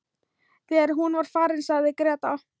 Þegar hún var farin sagði Gréta: